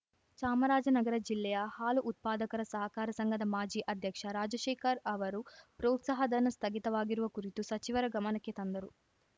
ಚಾಮರಾಜನಗರ ಜಿಲ್ಲೆಯ ಹಾಲು ಉತ್ಪಾದಕರ ಸಹಕಾರ ಸಂಘದ ಮಾಜಿ ಅಧ್ಯಕ್ಷ ರಾಜಶೇಖರ್‌ ಅವರು ಪ್ರೋತ್ಸಾಹ ಧನ ಸ್ಥಗಿತವಾಗಿರುವ ಕುರಿತು ಸಚಿವರ ಗಮನಕ್ಕೆ ತಂದರು